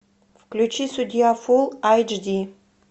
включи судья фул айч ди